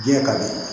Diɲɛ ka di